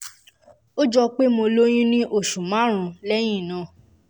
ó jọ pé mo lóyún ní oṣù márùn-ún lẹ́yìn náà